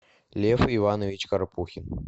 лев иванович карпухин